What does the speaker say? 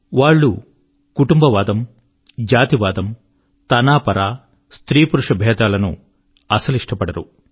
వారు కుటుంబవాదము జాతివాదము తనపర స్త్రీపురుష భేదాలను ఇష్టపడరు